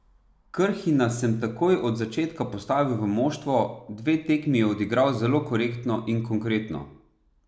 Krhina sem takoj od začetka postavil v moštvo, dve tekmi je odigral zelo korektno in konkretno.